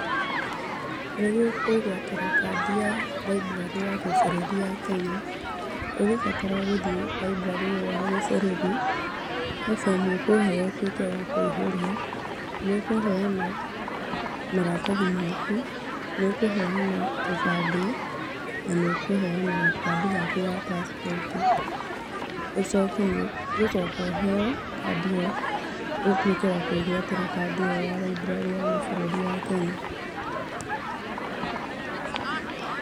Nĩguo kwĩgwatĩra kandĩ ya library ya gĩbũrũri ya Kenya ũgũbatara gũthiĩ library ĩyo ya gĩbũrũri. He bomu ũkũheo ũtwĩke wa kũiyũria, nĩ ũkũheana maratathi maku nĩ ũkũheana kĩbandĩ na nĩ ũkũheana gakandi gaku ga passport. Ũcoke nĩ ũgũcoka ũheo kandi ĩyo ũtuĩke wa kwĩgwatĩra kandi ĩyo ya library ya gĩbũrũri ya Kenya.